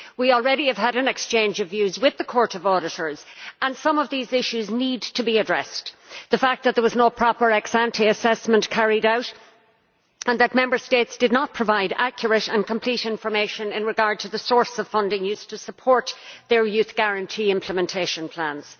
We have already had an exchange of views with the Court of Auditors and some of these issues need to be addressed the fact that there was no proper ex ante assessment carried out and that Member States did not provide accurate and complete information in regard to the source of funding used to support their Youth Guarantee implementation plans.